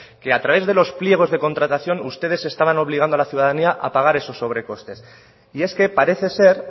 que a través de los pliegos de contratación ustedes estaban obligando a la ciudadanía a pagar esos sobrecostes y es que parece ser